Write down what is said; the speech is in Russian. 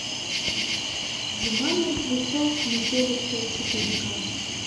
зима мертвецов метелица четыре к